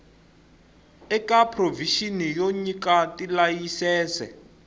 eka provixini yo nyika tilayisense